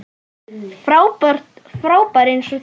Frábær eins og þér.